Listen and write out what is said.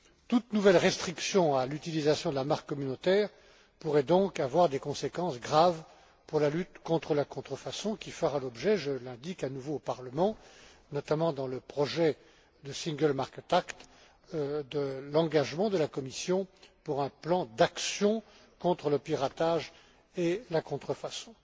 Toute nouvelle restriction à l'utilisation de la marque communautaire pourrait donc avoir des conséquences graves pour la lutte contre la contrefaçon, qui fera l'objet je l'indique à nouveau au Parlement notamment dans le projet de single market act, de l'engagement de la Commission pour un plan d'action contre le piratage et la contrefaçon.